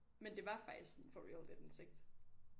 Men det var faktisk sådan for real lidt en sekt